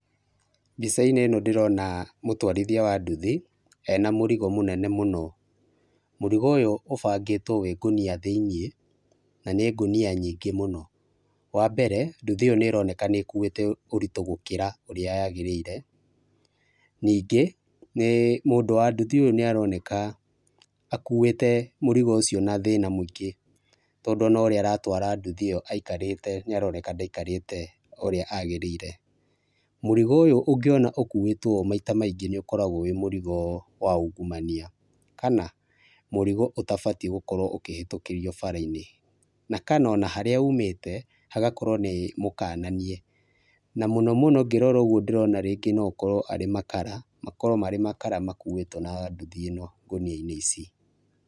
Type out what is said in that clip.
Mbica-inĩ ĩno ndĩrona mũtwarithia wa nduthi ena mũrigo mũnene mũno, mũrigo ũyũ ũbangĩtwo wĩ ngũnia thĩinĩ na nĩ ngũnia nyingĩ mũno, wa mbere nduthi ĩyo nĩronekana nĩ ĩkuĩte ũrito gũkĩra ũrĩa yagĩrĩire ningĩ mũndũ wa nduthi ũyũ nĩ aroneka akuĩte mũrigo ũcio na thĩna mũingĩ, tondũ ona ũrĩa aratwara nduthi ĩyo aikarĩte nĩ aroneka ndaikarĩte ũrĩa agĩrĩire. Mũrigo ũyũ ũngĩona ũkuĩtwo maita maingĩ nĩ ũkoragwo wĩ mũrigo wa ungumania kana mũrigo ũtabatiĩ gũkorwo ũkĩhetũkĩrio bara-inĩ, na kana ona harĩa ũmĩte hagakorwo nĩ mũkananie, na mũno mũno ngĩrora ũguo ndĩrona rĩngĩ no okorwo arĩ makara, makarwo arĩ makara makuĩtwo na nduthi ĩno ngũnia-inĩ ici.